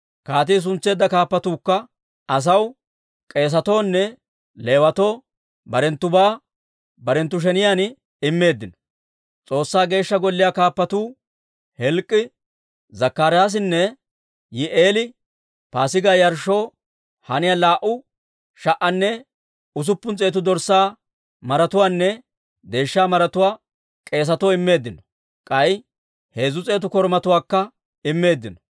Kaatii suntseedda kaappatuukka asaw, k'eesetuwunne Leewatoo barenttubaa barenttu sheniyaan immeeddino. S'oossaa Geeshsha Golliyaa kaappatuu Hilk'k'ii, Zakkaraasinne Yihi'eeli Paasigaa yarshshoo haniyaa laa"u sha"anne usuppun s'eetu dorssaa maratuwaanne deeshsha maratuwaa k'eesatoo immeeddino; k'ay heezzu s'eetu korumatuwaakka immeeddino.